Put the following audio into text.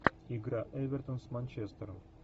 игра эвертон с манчестером